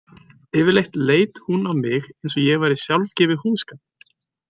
Yfirleitt leit hún á mig eins og ég væri sjálfgefið húsgagn.